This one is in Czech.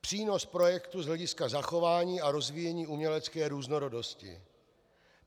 Přínos projektu z hlediska zachování a rozvíjení umělecké různorodosti.